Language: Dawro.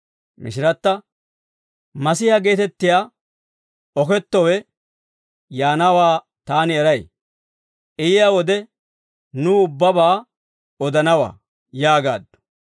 Mishiratta, «Masihiyaa geetettiyaa Kiristtoosi yaanawaa taani eray. I yiyaa wode nuw ubbabaa odanawaa» yaagaaddu.